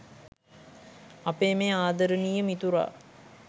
අපේ මේ ආදරණීය මිතුරා